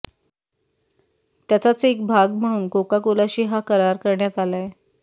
त्याचाच एक भाग म्हणून कोकाकोलाशी हा करार करण्यात आलाय